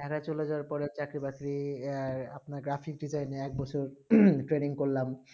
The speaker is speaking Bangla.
টানা চলে যাওবা পরে এক ই বাকরি আপনার graphic design এ এক বছর training করলাম